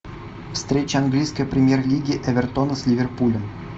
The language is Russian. встреча английской премьер лиги эвертона с ливерпулем